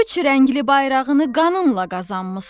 Üç rəngli bayrağını qanınla qazanmısan.